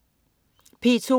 P2: